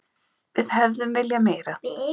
Við hefðum viljað meira.